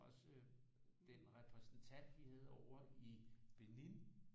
Også øh den repræsentant vi havde ovre i Benin